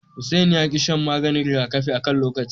Hussaini ya ki shan maganin rigakafi akan lokaci.